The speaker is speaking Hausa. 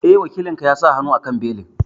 Eh, Wakilin ka ya sa hannu a belin